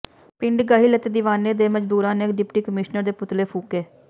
ਪਿੰਡ ਗਹਿਲ ਅਤੇ ਦੀਵਾਨੇ ਦੇ ਮਜ਼ਦੂਰਾਂ ਨੇ ਡਿਪਟੀ ਕਮਿਸ਼ਨਰ ਦੇ ਪੁਤਲੇ ਫੂਕੇ